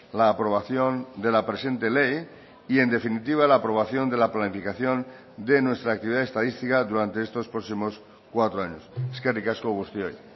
la aprobación de la presente ley y en definitiva la aprobación de la planificación de nuestra actividad estadística durante estos próximos cuatro años eskerrik asko guztioi